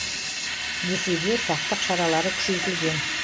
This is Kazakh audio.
десе де сақтық шаралары күшейтілген